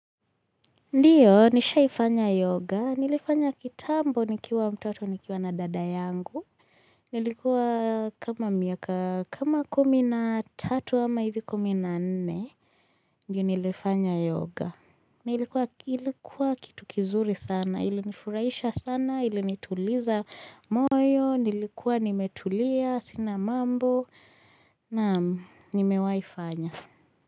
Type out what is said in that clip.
Ndio nishaifanya yoga nilifanya kitambo nikiwa mtoto nikiwa na dada yangu Nilikuwa kama miaka kama kumi na tatu ama hivi kumi na nne Ndiyo nilifanya yoga na ilikuwa kitu kizuri sana ilinifurahisha sana ilinituliza moyo nilikuwa nimetulia sina mambo naam, nimewaifanya.